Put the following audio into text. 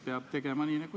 Hea juhataja!